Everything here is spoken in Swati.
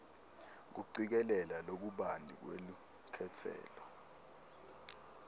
kucikelela lokubanti lwelukhetselo